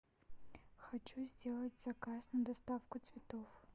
хочу сделать заказ на доставку цветов